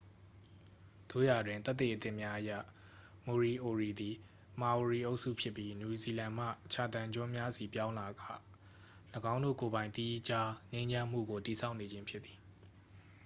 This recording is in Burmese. သို့ရာတွင် သက်သေအသစ်များအရ မိုရီအိုရီသည် မာအိုရီအုပ်စုဖြစ်ပြီး နယူးဇီလန်မှချာသန်ကျွန်းများဆီပြောင်းလာက ၎င်းတို့ကိုယ်ပိုင် သီးခြားငြိမ်းချမ်းမှုကို တည်ဆောက်နေခြင်းဖြစ်သည်